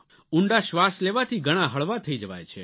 ઊંડા શ્વાસ લેવાથી ઘણા હળવા થઇ જવાય છે